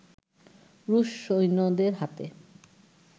রুশ সৈন্যদের হাতে